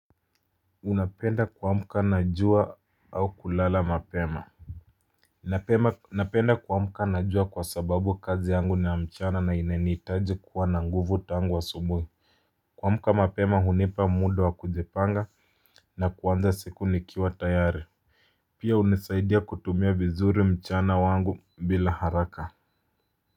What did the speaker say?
Unapenda kuamka na jua au kulala mapema. Napenda kuamka na jua kwa sababu kazi yangu ni ya mchana na inanihitaji kuwa na nguvu tangu asubuhi. Kuamka mapema hunipa muda wa kujipanga na kuanza siku nikiwa tayari. Pia hunisaidia kutumia vizuri mchana wangu bila haraka.